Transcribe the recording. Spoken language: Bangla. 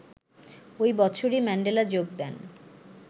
ওই বছরই ম্যান্ডেলা যোগ দেন